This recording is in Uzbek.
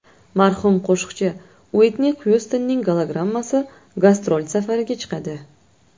Marhum qo‘shiqchi Uitni Xyustonning gologrammasi gastrol safariga chiqadi.